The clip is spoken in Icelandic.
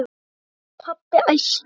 segir pabbi æstur.